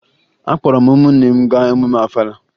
Akpọrọ m ụmụnne m gaa emume Ọfala